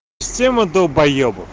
все мы долбаебы